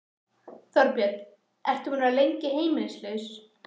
Þorbjörn: Ertu búinn að vera lengi heimilislaus?